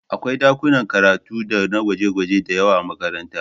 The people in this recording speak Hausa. Akwai ɗakunan karatu dana gwaje-gwaje da yawa a makaranta